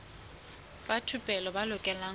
ba thupelo ba lokela ho